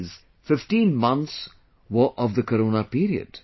Of these, 15 months were of the Corona period